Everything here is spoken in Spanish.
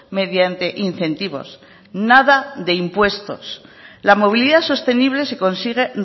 mediante incentivos nada de impuestos la movilidad sostenible se consigue